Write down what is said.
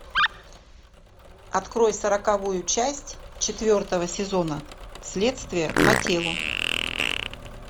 открой сороковую часть четвертого сезона следствие по телу